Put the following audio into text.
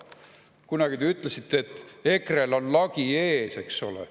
Kunagi te ütlesite, et EKRE-l on lagi ees, eks ole.